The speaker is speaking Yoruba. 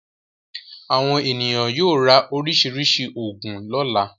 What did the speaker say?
Àwọn ènìyàn yóò ra oríṣiríṣi òògùn lọ́la.